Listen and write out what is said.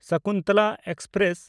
Sakuntala express